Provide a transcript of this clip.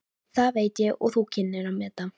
Þetta veit ég þú kynnir að meta.